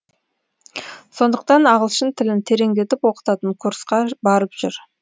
сондықтан ағылшын тілін тереңдетіп оқытатын курсқа барып жүр